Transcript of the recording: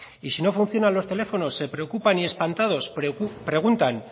y si no funcionan los teléfonos se preocupan y espantados preguntan